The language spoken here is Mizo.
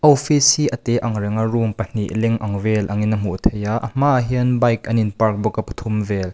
awfis hi a tê angreng a room pahnih leng ang vel angin a hmuh theih a a hmaah hian bike an in park bawk a pathum vel.